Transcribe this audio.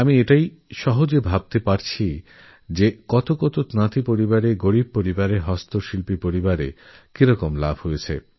আমি কল্পনা করতে পারছি যে এতে কত তাঁতি পরিবারেরগরীব পরিবারের হস্তচালিত তাঁতে কাজ করা পরিবারের কতটা লাভ হয়েছে